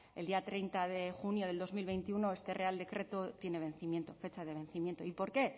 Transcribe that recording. el día treinta de junio del dos mil veintiuno este real decreto tiene vencimiento fecha de vencimiento y por qué